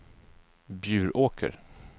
Bjuråker